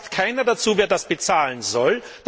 Es sagt keiner dazu, wer das bezahlen soll.